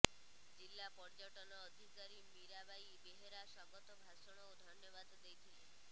ଜିଲ୍ଲା ପର୍ଯ୍ୟଟନ ଅଧିକାରୀ ମିରାବାଇ ବେହେରା ସ୍ୱାଗତ ଭାଷଣ ଓ ଧନ୍ୟବାଦ ଦେଇଥିଲେ